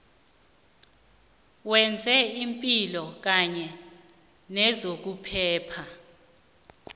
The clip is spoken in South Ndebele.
wezepilo kanye nezokuphepha